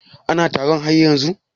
Ana taron har yanzun?